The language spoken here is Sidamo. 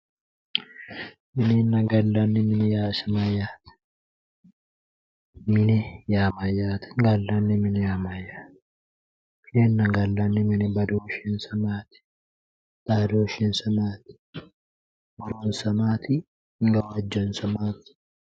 Minenna gallanni. mine yaa isi mayyaate? mine yaa mayyaate gallanni mine yaa mayyaate? minenna gallanni. mini badooshshsi maati? xadooshshinsa maati? horonsa maati gawajjonsa maati?